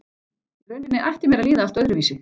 Í rauninni ætti mér að líða allt öðruvísi.